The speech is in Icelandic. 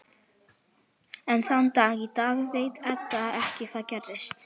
Enn þann dag í dag veit Edda ekki hvað gerðist.